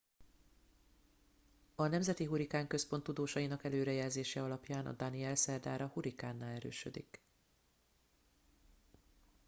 a nemzeti hurrikán központ tudósainak előrejelzése alapján a danielle szerdára hurikánná erősödik